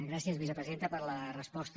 gràcies vicepresidenta per la resposta